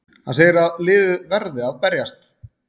Hann segir að liðið verði að berjast!